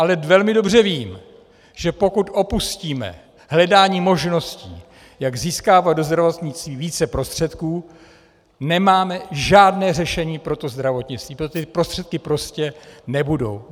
Ale velmi dobře vím, že pokud opustíme hledání možností, jak získávat do zdravotnictví více prostředků, nemáme žádné řešení pro to zdravotnictví, protože ty prostředky prostě nebudou.